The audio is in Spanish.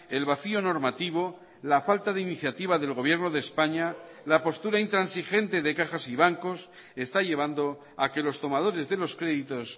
el vacío normativo la falta de iniciativa del gobierno de españa la postura intransigente de cajas y bancos está llevando a que los tomadores de los créditos